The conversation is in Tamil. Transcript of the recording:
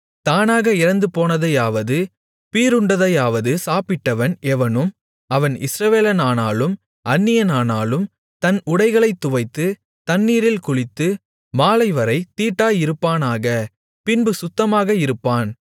தானாக இறந்துபோனதையாவது பீறுண்டதையாவது சாப்பிட்டவன் எவனும் அவன் இஸ்ரவேலனானாலும் அந்நியனானாலும் தன் உடைகளைத் துவைத்து தண்ணீரில் குளித்து மாலைவரைத் தீட்டாயிருப்பானாக பின்பு சுத்தமாக இருப்பான்